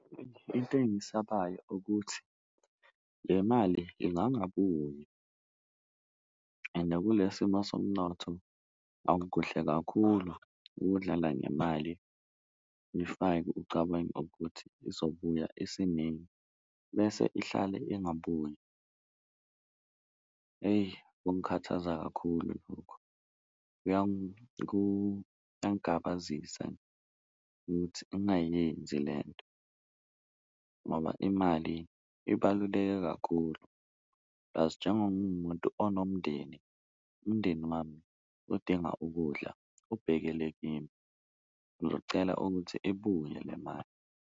Into engiyisabayo ukuthi le mali ingangabuyi ende kule simo somnotho akukuhle kakhulu ukudlala ngemali, uyifake ucabange ukuthi izobuya isinengi bese ihlale ingabuyi, eyi kungikhathaza kakhulu lokhu. Kuyangabasiza ukuthi ungayenzi lento ngoba imali ibaluleke kakhulu plasi njengoba ngingumuntu onomndeni, umndeni wami udinga ukudla ubhekele kimi ngizocela ukuthi ibuye le mali.